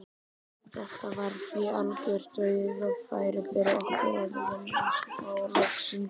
Þetta var því algjört dauðafæri fyrir okkur að vinna þá loksins.